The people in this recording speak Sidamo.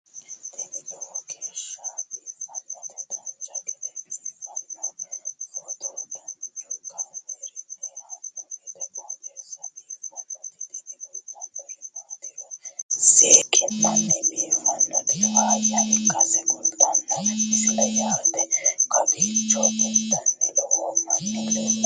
tini lowo geeshsha biiffannoti dancha gede biiffanno footo danchu kaameerinni haa'noonniti qooxeessa biiffannoti tini kultannori maatiro seekkine la'niro biiffannota faayya ikkase kultannoke misileeti yaate kowiicho intanniti loome nooti leeltanni nooe